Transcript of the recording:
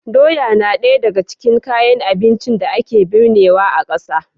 Doya na ɗaya daga cikin kayan abincin da ake birnewa a ƙasa.